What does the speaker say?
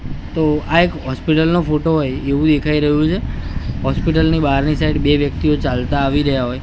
તો આ એક હોસ્પિટલ નો ફોટો હોય એવુ દેખાય રહ્યું છે હોસ્પિટલ ની બારની સાઇડ બે વ્યક્તિઓ ચાલતા આવી રહ્યા હોય--